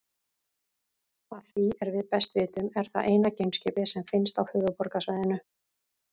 Að því er við best vitum er það eina geimskipið sem finnst á Höfuðborgarsvæðinu.